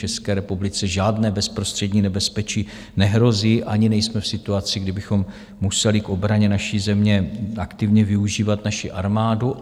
České republice žádné bezprostřední nebezpečí nehrozí ani nejsme v situaci, kdy kdybychom museli k obraně naší země aktivně využívat naši armádu.